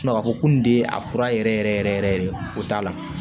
ka fɔ ko kun de ye a fura yɛrɛ yɛrɛ yɛrɛ yɛrɛ yɛrɛ o t'a la